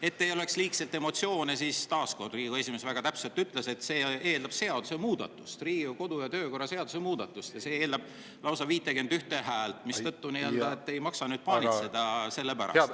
Et ei oleks liigselt emotsioone, siis, mida Riigikogu esimees väga ütles: see eeldab seaduse muutmist, Riigikogu kodu‑ ja töökorra seaduse muutmist ja lausa 51 häält, mistõttu ei maksa selle pärast paanitseda.